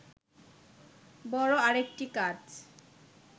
বড় আরেকটি কাজ